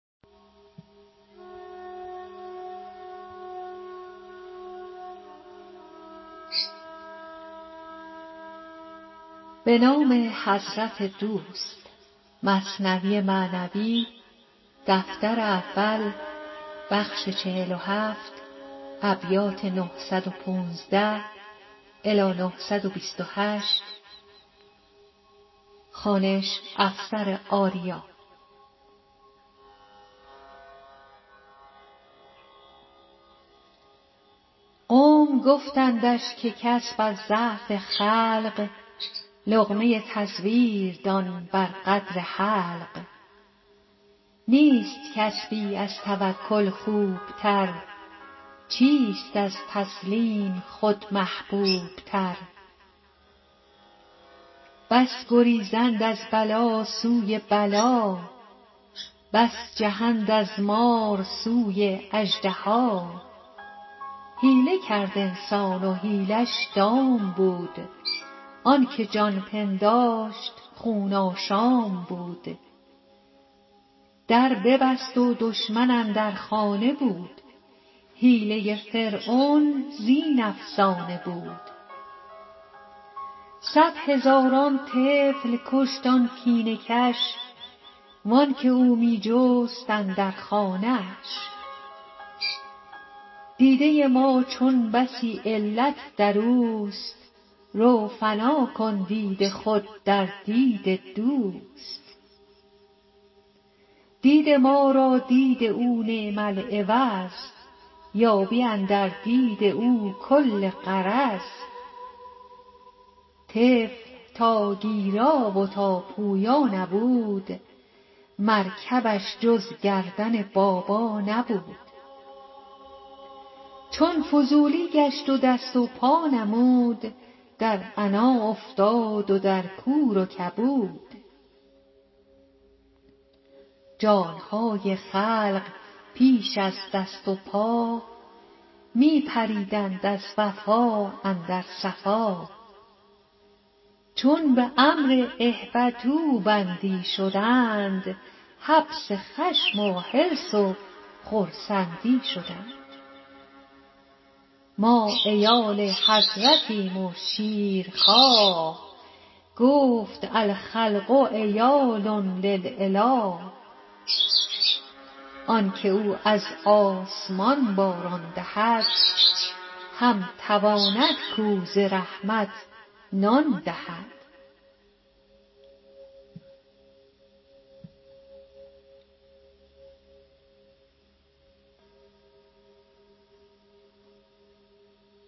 قوم گفتندش که کسب از ضعف خلق لقمه تزویر دان بر قدر حلق نیست کسبی از توکل خوب تر چیست از تسلیم خود محبوب تر بس گریزند از بلا سوی بلا بس جهند از مار سوی اژدها حیله کرد انسان و حیله ش دام بود آنک جان پنداشت خون آشام بود در ببست و دشمن اندر خانه بود حیله فرعون زین افسانه بود صد هزاران طفل کشت آن کینه کش وانک او می جست اندر خانه اش دیده ما چون بسی علت دروست رو فنا کن دید خود در دید دوست دید ما را دید او نعم العوض یابی اندر دید او کل غرض طفل تا گیرا و تا پویا نبود مرکبش جز گردن بابا نبود چون فضولی گشت و دست و پا نمود در عنا افتاد و در کور و کبود جان های خلق پیش از دست و پا می پریدند از وفا اندر صفا چون به امر اهبطوا بندی شدند حبس خشم و حرص و خرسند ی شدند ما عیال حضرتیم و شیر خواه گفت الخلق عیال للاله آنک او از آسمان باران دهد هم تواند کاو ز رحمت نان دهد